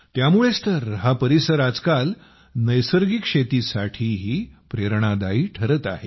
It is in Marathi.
त्यामुळेच तर हा परिसर आजकाल नैसर्गिक शेतीसाठीही प्रेरणादायी ठरत आहे